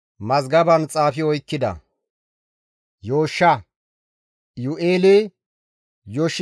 Simoona zareta halaqati hayssafe kaalli xaafettidayta; isttika Mashobaabe, Yaamlaake, Amasiyaase naa Yooshsha,